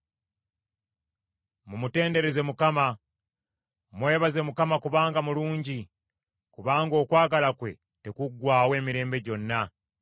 Mumutendereze Mukama ! Mwebaze Mukama kubanga mulungi, kubanga okwagala kwe tekuggwaawo emirembe gyonna.